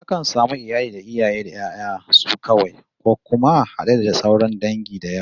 Akan samu iyali na iaye da 'ya'yan su kawai, ko kuma had'e da sauran dangi da yawa